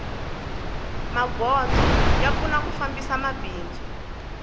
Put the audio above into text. magondzo ya pfuna ku fambisa mabindzu